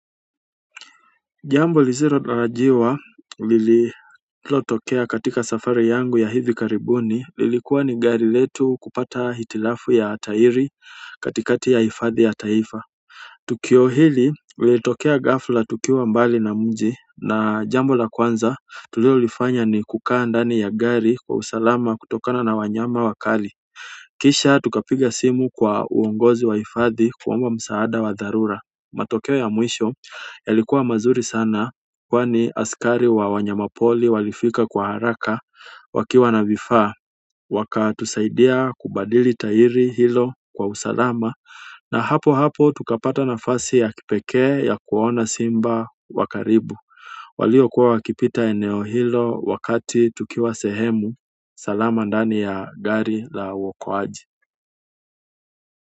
Jambo lisilotarajiwa lililotokea katika safari yangu ya hivi karibuni lilikuwa ni gari letu kupata hitilafu ya tairi katikati ya hifadhi ya taifa tukio hili liitokea gafla tukiwa mbali na mji na jambo la kwanza tulilolifanya ni kukaa ndani ya gari kwa usalama kutokana na wanyama wakali kisha tukapiga simu kwa uongozi wa hifadhi kuomba msaada wa dharura matokeo ya mwisho yalikuwa mazuri sana kwani askari wa wanyamapori walifika kwa haraka wakiwa na vifaa. Wakatusaidia kubadili tahiri hilo kwa usalama na hapo hapo tukapata nafasi ya kipekee ya kuona simba wa karibu walio kuwa wakipita eneo hilo wakati tukiwa sehemu salama ndani ya gari la waokoaji.